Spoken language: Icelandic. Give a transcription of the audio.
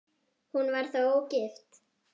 Hún var þá ógift.